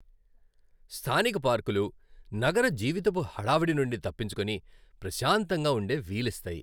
స్థానిక పార్కులు నగర జీవితపు హడావిడి నుండి తప్పించుకుని ప్రశాంతంగా ఉండే వీలిస్తాయి.